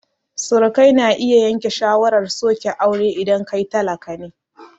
Surukai na iya yanke shawarar soke auren idan kai talaka ne